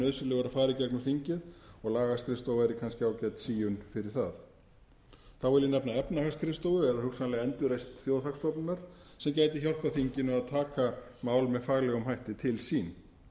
nauðsynlegur að fari í gegnum þingið og lagaskrifstofa væri kannski ágæt fyrir það þá vil ég nefna efnahagsskrifstofu eða hugsanlega endurreisn þjóðhagsstofnunar sem gæti hjálpað þinginu að taka mál með faglegum hætti til sín